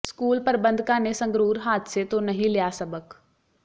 school ਪ੍ਰੰਬਧਕਾਂ ਨੇ ਸੰਗਰੂਰ ਹਾਦਸੇ ਤੋਂ ਨਹੀਂ ਲਿਆ ਸਬਕ